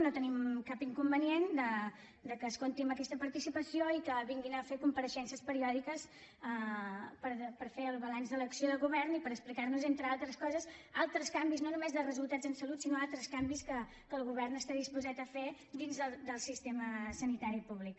no tenim cap inconvenient que es compti amb aquesta participació i que vinguin a fer compareixences periòdiques per fer el balanç de l’acció de govern i per explicar nos entre altres coses altres canvis no només de resultats en salut sinó altres canvis que el govern està disposat a fer dins del sistema sanitari públic